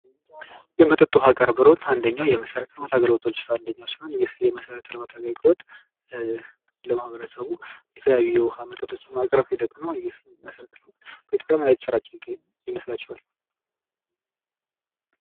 የመጠጥ ዉሃ አገልግሎት አንደኛው የመሰረታዊ ልማት አገልግሎቶች ዉስጥ አንዱ ሲሆን ይህ መሰረተ ልማት አገልግሎት ለማህበረሰቡ የተከያዩ የዉሃ መጠጦችን የሚያቀርብ ሂደት ነው ይህ መሰረተ ልማት። በኢትዮጵያ ምን አይነት እየተሰራጨ ይመስላችኋል?